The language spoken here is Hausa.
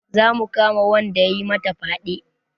Za mu kama wanda ya yi mata fyaɗe